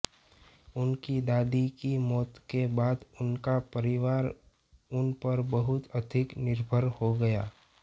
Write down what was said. उनकी दादी की मौत के बाद उनका परिवार उन पर बहुत अधिक निर्भर हो गया